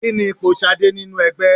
Kí ni ipò Ṣadé nínú ẹgbẹ́?